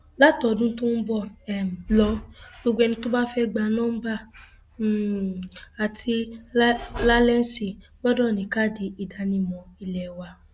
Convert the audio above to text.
látọdún tó ń bọ um lọ gbogbo ẹni tó bá fẹẹ gba nọmba um àti làlẹǹsì gbọdọ ní káàdì ìdánimọ ilé wa